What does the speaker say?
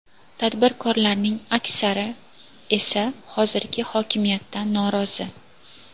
Tadbirkorlarning aksari esa hozirgi hokimiyatdan norozi.